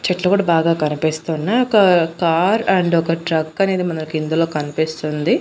చెట్లు కూడా బాగా కనిపిస్తున్నాయ్ ఒక కార్ అండ్ ఒక ట్రక్ అనేది మనకు ఇందులో కనిపిస్తుంది.